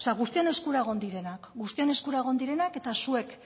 guztion eskura egon direnak guztion eskura egon direnak eta zuek